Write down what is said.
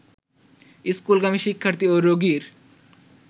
স্কুলগামী শিক্ষার্থী ও রোগীর